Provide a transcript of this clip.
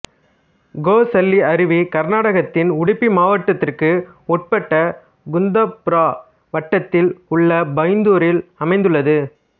கோசள்ளி அருவி கர்நாடகத்தின் உடுப்பி மாவட்டத்திற்கு உட்பட்ட குந்தாபுரா வட்டத்தில் உள்ள பைந்தூரில் அமைந்துள்ளது